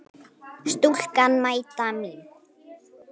Stúlkan mæta mín.